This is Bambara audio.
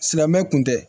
Silamɛmɛ kun tɛ